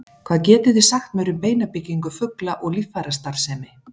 hvað getið þið sagt mér um beinabyggingu fugla og líffærastarfsemi